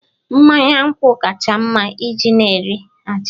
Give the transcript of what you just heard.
Mmanya nkwụ kacha mma iji na-nri abacha